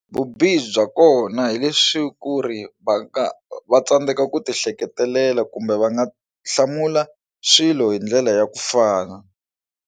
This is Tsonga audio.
Vubihi bya kona hi leswi ku ri va nga va tsandzeka ku ti ehleketelela kumbe va nga hlamula swilo hi ndlela ya ku fana.